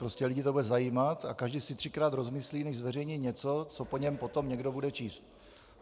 Prostě lidi to bude zajímat a každý si třikrát rozmyslí, než zveřejní něco, co po něm potom někdo bude číst.